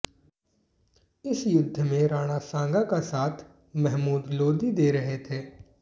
इस युद्ध में राणा सांगा का साथ महमूद लोदी दे रहे थे